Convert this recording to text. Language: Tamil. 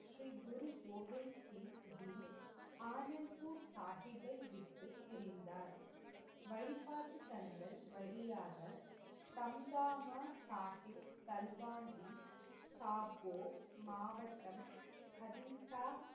ஆனந்த்பூர் சாகிப்பை விட்டுப் பிரிந்தார். வழிபாட்டுத்தலங்கள் வழியாக தம்தாம சாகிப் தல்வாண்டி சாபோ மாவட்டம் அதின்தா,